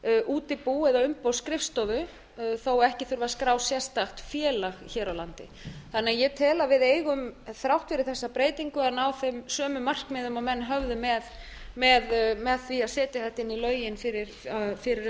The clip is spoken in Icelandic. útibú eða umboðsskrifstofu þó ekki þurfi að skrá sérstakt félag hér á landi þannig að ég tel að við eigum þrátt fyrir þessa breytingu að ná þeim sömu markmiðum og menn höfðu með því að setja þetta inn í lögin fyrir um